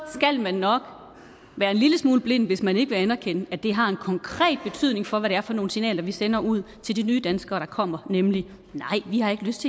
skal man nok være en lille smule blind hvis man ikke vil anerkende at det har en konkret betydning for hvad det er for nogle signaler vi sender ud til de nye danskere der kommer nemlig nej vi har ikke lyst